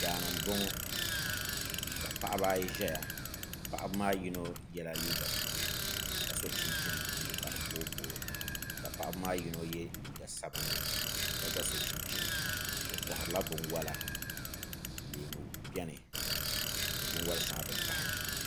Daani n boŋo ka paɣaba ayi ʒɛya paɣaba maa ni yino yɛla liiga buluu ka so chinchini buluu ka di booi booi ka paɣaba maa yino yɛ liiga sabinli ka gba so chinchini o koharila binwola leemu biɛni ni binwoli shɛŋa din pahi